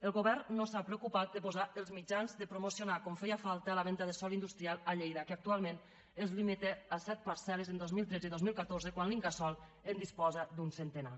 el govern no s’ha preocupat de posar els mitjans per a promo·cionar com feia falta la venda de sòl industrial a llei·da que actualment es limita a set parcel·les en dos mil tretze i dos mil catorze quan l’incasòl en disposa d’un centenar